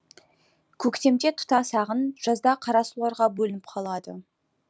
көктемде тұтас ағын жазда қарасуларға бөлініп қалады